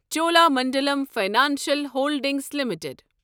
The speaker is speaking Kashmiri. Cholamandalam financial holdings limited